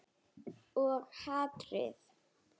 Og hatrið.